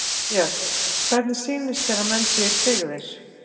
Björn: Hvernig sýnist þér að menn séu tryggðir?